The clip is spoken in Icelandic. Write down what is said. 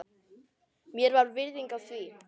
Mér var virðing af því.